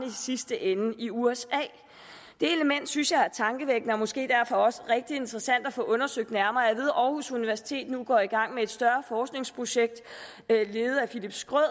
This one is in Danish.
sidste ende i usa det element synes jeg er tankevækkende og måske derfor også rigtig interessant at få undersøgt nærmere at aarhus universitet nu går i gang med et større forskningsprojekt ledet af philipp schröder